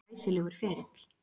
Glæsilegur ferill.